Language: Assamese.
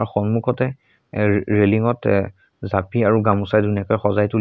সন্মুখতে ৰে ৰেলিঙৰতে এ জাপি আৰু গামোচা ধুনীয়াকৈ সজাই তুলিছে।